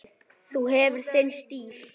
Þú hefur þinn stíl.